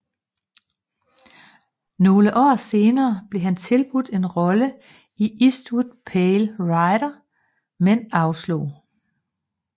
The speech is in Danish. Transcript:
Nogle år senere blev han tilbudt en rolle i Eastwoods Pale Rider men afslog